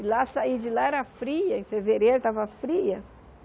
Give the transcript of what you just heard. E lá, sair de lá era fria, em fevereiro estava fria.